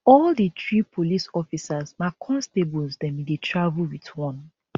all di three police officers na constables dem bin dey travel wit one